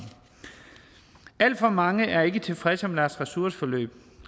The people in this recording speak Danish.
alt for mange er ikke tilfredse med deres ressourceforløb